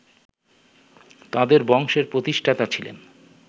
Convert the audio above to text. তাদের বংশের প্রতিষ্ঠাতা ছিলেন